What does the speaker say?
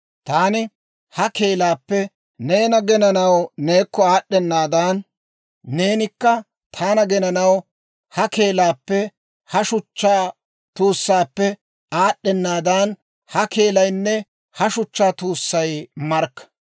Taani ha keelaappe neena genanaw neekko aad'd'enaaddan, neenikka taana genanaw ha keelaappenne ha shuchchaa tuussaappe aad'd'enaaddan, ha keelaynne ha shuchchaa tuussay markka.